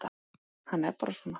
Hann er bara svona.